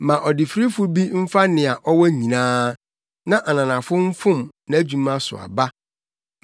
Ma ɔdefirifo bi mfa nea ɔwɔ nyinaa; na ananafo mfom nʼadwuma so aba.